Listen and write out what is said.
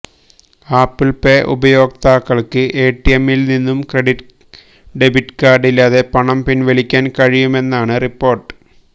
apple Pay ഉപയോക്താക്കള്ക്ക് എടിഎമ്മില് നിന്നും ക്രെഡിറ്റ് ഡെബിറ്റ് കാര്ഡ് ഇല്ലാതെ പണം പിന്വലിക്കാന് കഴിയുമെന്നാണ് റിപ്പോര്ട്ട്